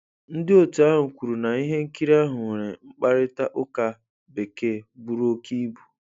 Ndị otu ahụ kwuru na ihe nkiri ahụ nwere 'mkparịta ụka Bekee buru óké ibu'.